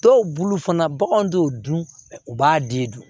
Dɔw bulu fana baganw t'o dun u b'a di dun